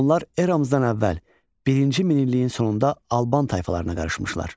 Onlar eramızdan əvvəl birinci minilliyin sonunda Alban tayfalarına qarışmışlar.